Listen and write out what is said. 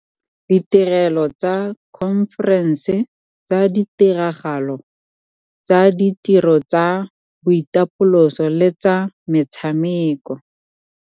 Ditirelo tsa dikhomferense, tsa ditiragalo, tsa ditiro tsa boitapoloso le tsa metshameko.